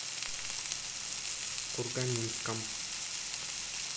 курганинском